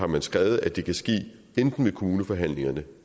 man skrevet at det kan ske enten ved kommuneforhandlingerne